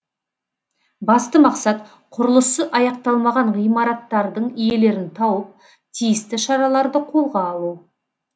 басты мақсат құрылысы аяқталмаған ғимараттардың иелерін тауып тиісті шараларды қолға алу